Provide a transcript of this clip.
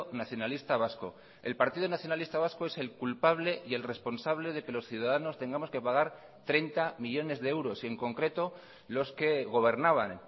nacionalista vasco el partido nacionalista vasco es el culpable y el responsable de que los ciudadanos tengamos que pagar treinta millónes de euros y en concreto los que gobernaban